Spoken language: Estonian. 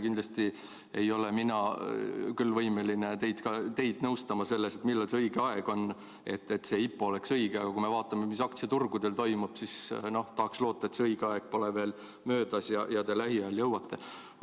Kindlasti ei ole mina võimeline teid nõustama selles, millal see õige aeg on, et IPO oleks õige, aga kui me vaatame, mis aktsiaturgudel toimub, siis tahaksin loota, et õige aeg pole veel möödas ja te lähiajal jõuate.